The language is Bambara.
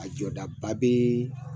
A jɔdaba be